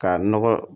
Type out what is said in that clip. Ka nɔgɔ